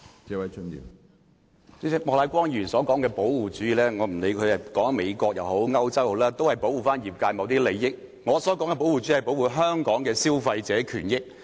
主席，不管莫乃光議員所說的保護主義，是指美國還是歐洲的情況，但都是保護業界某些利益，而我所說的保護主義，是指保護香港的消費者權益。